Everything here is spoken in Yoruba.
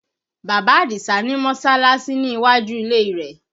Bàbá Adisa ni Mọ́sọ́láásí ní iwájú ilé rẹ̀